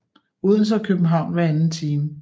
Odense og København hver anden time